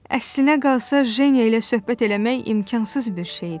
Əslinə qalsa Jenya ilə söhbət eləmək imkansız bir şey idi.